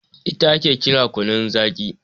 ita ake kira kunun Zaki